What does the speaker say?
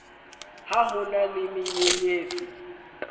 ha ho na le menyenyetsi